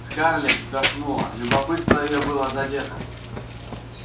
скарлетт вздохнула любопытство её было задето